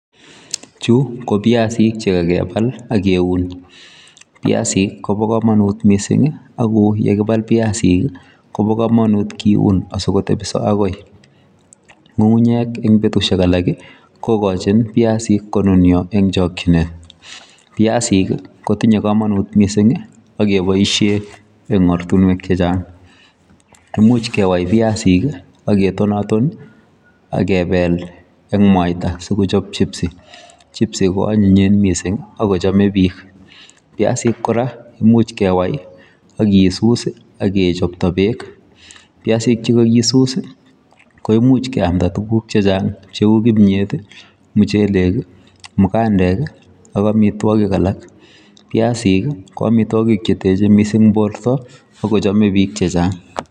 Chuu kopiasik Che kakipal AK keuni piasik cheuchuu kokakipal Ak keun imuchi kochop piasik AK kewai biasik chekakiun komuchi kechopee amitwogik chechak